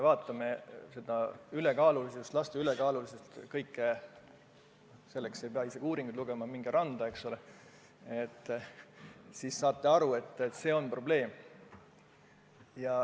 Mõelgem ülekaalulisuse probleemile, laste ülekaalulisusele – selleks ei pea mingeid uuringuid lugema, minge randa, siis näete, et see on probleem.